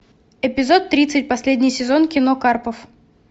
эпизод тридцать последний сезон кино карпов